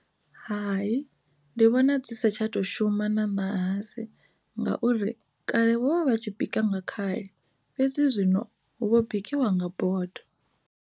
Hai, ndi vhona dzi sa tsha to shuma na ṋahasi ngauri kale vho vha vha tshi bika nga khali fhedzi zwino hu vho bikiwa nga bodo.